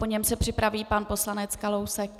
Po něm se připraví pan poslanec Kalousek.